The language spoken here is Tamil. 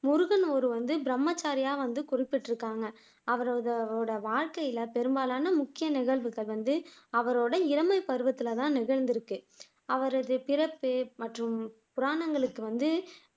முருகன் ஒரு வந்து பிரம்மச்சாரியா வந்து குறிப்பிட்டுருக்காங்க அவரோட வாழ்க்கைல பெரும்பாலான முக்கிய நிகழ்வுகள் வந்து அவரோட இளமைப்பருவத்துலதான் நடந்துருக்கு அவரது பிறப்பு மற்றும் புராணங்களுக்கு வந்து